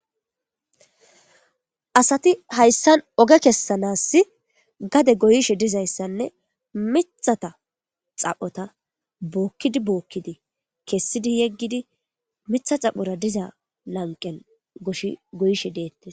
Asati hayssan oge kessanaas gade goyishe dizayssanne miththata xaphota bookkidi bookkidi kessidi yegidi miththa xaphora diza lanqqen goyishe dettees.